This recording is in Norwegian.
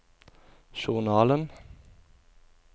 journalen